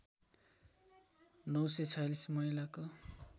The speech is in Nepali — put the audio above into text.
९४६ महिलाको